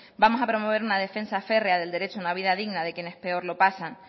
vamos a promover una defensa férrea del derecho a una vida digna de quienes peor lo pasan